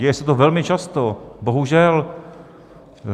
Děje se to velmi často, bohužel.